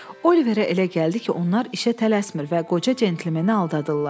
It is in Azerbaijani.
Oliverə elə gəldi ki, onlar işə tələsmir və qoca cəntlmeni aldadırlar.